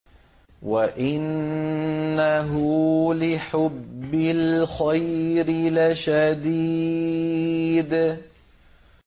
وَإِنَّهُ لِحُبِّ الْخَيْرِ لَشَدِيدٌ